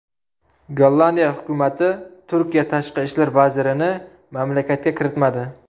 Gollandiya hukumati Turkiya tashqi ishlar vazirini mamlakatga kiritmadi.